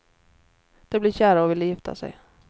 De blev kära och ville gifta sig.